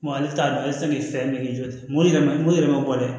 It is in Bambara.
Wa ale t'a dɔn ale tɛ se k'i fɛ k'i jɔ dɛ morima mori yɛrɛ ma bɔ dɛ